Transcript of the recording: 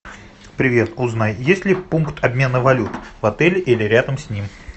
привет узнай есть ли пункт обмена валют в отеле или рядом с ним